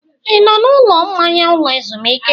Ị nọ na ụlọ mmanya ụlọ ezumike?